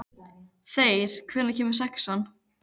Þeyr, hvenær kemur sexan?